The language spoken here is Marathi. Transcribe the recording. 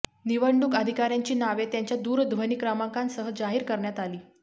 निवडणूक अधिकाऱ्यांची नावे त्यांच्या दूरध्वनी क्रमाकांसह जाहीर करण्यात आली